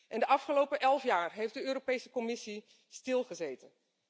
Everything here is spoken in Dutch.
In de afgelopen 11 jaar heeft de Europese Commissie stilgezeten.